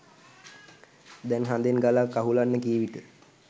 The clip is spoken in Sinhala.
දැන් හදෙන් ගලක් අහුලන්න කී විට